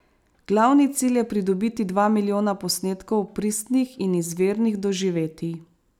Glavni cilj je pridobiti dva milijona posnetkov pristnih in izvirnih doživetij.